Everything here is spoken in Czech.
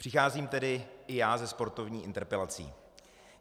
Přicházím tedy i já se sportovní interpelací.